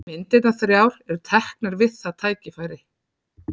Myndirnar þrjár eru teknar við það tækifæri.